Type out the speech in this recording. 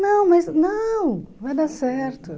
Não, mas não, vai dar certo.